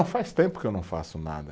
Faz tempo que eu não faço nada.